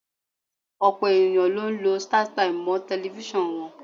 Ọ̀pọ̀ ènìyàn ló ń lọ Startimes mọ́ tẹlifíṣàn wọn.